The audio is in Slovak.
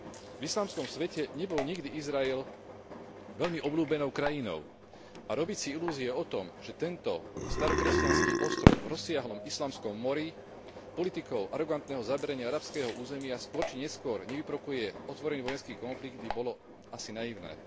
V islamskom svete nebol nikdy Izrael veľmi obľúbenou krajinou a robiť si ilúzie o tom, že tento starokresťanský ostrov v rozsiahlom islamskom mori politikou arogantného zaberania arabského územia skôr či neskôr nevyprovokuje otvorený vojenský konflikt, by bolo asi naivné.